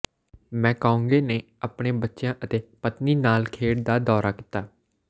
McConaughey ਨੇ ਆਪਣੇ ਬੱਚਿਆਂ ਅਤੇ ਪਤਨੀ ਨਾਲ ਖੇਡ ਦਾ ਦੌਰਾ ਕੀਤਾ